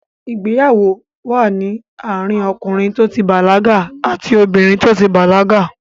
Ìgbéyàwó wà ní àárín ọkìnrin tó ti bàlágà àti obìnrin tó ti bàlágà.